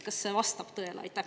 Kas need vastavad tõele?